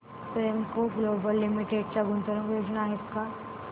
Premco global limited च्या गुंतवणूक योजना आहेत का